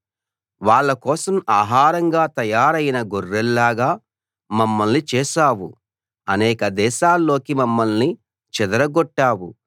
వాళ్ళ కోసం ఆహారంగా తయారైన గొర్రెల్లాగా మమ్మల్ని చేశావు అనేక దేశాల్లోకి మమ్మల్ని చెదరగొట్టావు